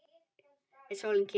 Er sólin kyrr?